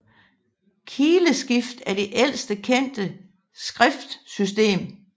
Kileskrift er det ældste kendte skriftsystem